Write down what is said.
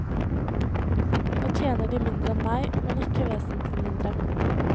Nå tjener de mindre enn meg, men ikke vesentlig mindre.